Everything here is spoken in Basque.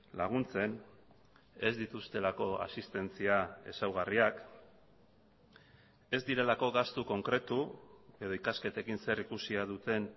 laguntzen ez dituztelako asistentzia ezaugarriak ez direlako gastu konkretu edo ikasketekin zerikusia duten